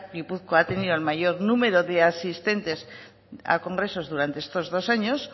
gipuzkoa ha tenido el mayor número de asistentes a congresos durante estos dos años